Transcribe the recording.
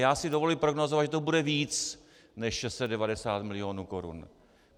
Já si dovolím prognózovat, že to bude víc než 690 mil. korun.